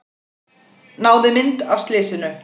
Náði mynd af slysinu